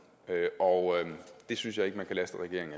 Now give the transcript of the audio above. og jeg synes ikke man kan laste regeringen